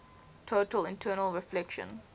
total internal reflection